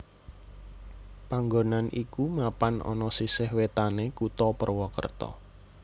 Panggonan iku mapan ana sisih wétanné Kutha Purwokerto